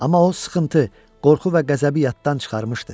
Amma o sıxıntı, qorxu və qəzəbi yaddan çıxarmışdı.